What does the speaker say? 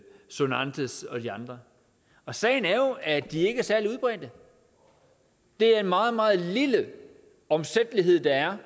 sonantes og de andre sagen er jo at de ikke er særlig udbredt det er en meget meget lille omsættelighed der er